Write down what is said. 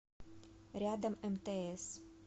рядом мтс